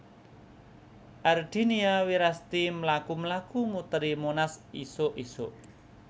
Ardinia Wirasti mlaku mlaku muteri Monas isuk isuk